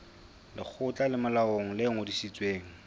lekgotla le molaong le ngodisitsweng